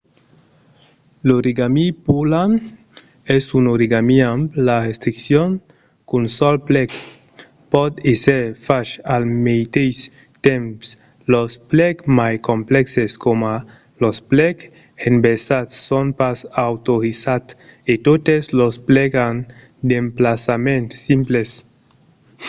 l'origami pureland es un origami amb la restriccion qu'un sol plec pòt èsser fach al meteis temps los plecs mai complèxes coma los plecs inversats son pas autorizats e totes los plecs an d'emplaçaments simples